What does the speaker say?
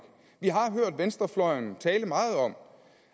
vi har hørt venstrefløjen tale meget om